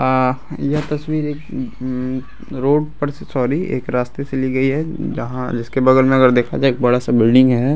आ यह तस्वीर एक उम उम रोड पर से सॉरी एक रास्ते से ली गयी है। जहाँ जिसके बगल में अगर देखा जाए एक बड़ा सा बिल्डिंग हैं।